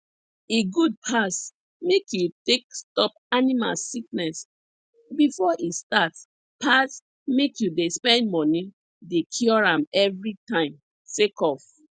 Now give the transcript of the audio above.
e good pass make you take stop animal sickness before e start pass make you dey spend money dey cure am every time sake of